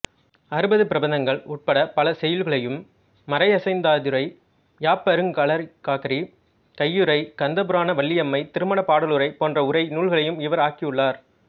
அறுபது பிரபந்தங்கள் உட்படப் பல செய்யுள்களையும் மறையசையந்தாதியுரை யாப்பருங்கலக்காரிகையுரை கந்தபுரான வள்ளியம்மை திருமணப்படலவுரை போன்ற உரை நூல்களையும் இவர் ஆக்கியுள்ளார்